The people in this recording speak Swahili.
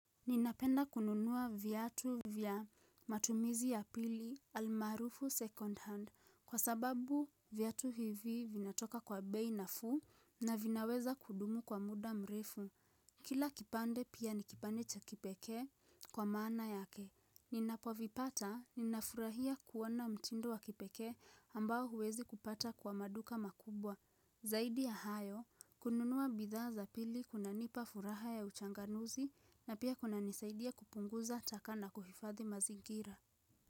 Ninapenda kununuwa viatu vya matumizi ya pili almarufu second hand kwa sababu viatu hivi vinatoka kwa bei nafuu na vinaweza kudumu kwa muda mrefu. Kila kipande pia nikipande cha kipeke kwa maana yake. Ninapovipata ninafurahia kuona mtindo wa kipekee ambao huwezi kuupata kwa maduka makubwa. Zaidi ya hayo, kununua bidhaa za pili kunanipa furaha ya uchanganuzi na pia kuna nisaidia kupunguza taka nakuhifathi mazingira.